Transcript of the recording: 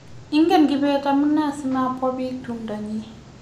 ingen kibet amune sima bwa biik tumdo nyi